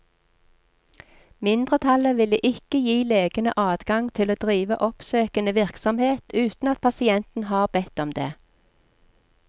Mindretallet ville ikke gi legene adgang til å drive oppsøkende virksomhet uten at pasienten har bedt om det.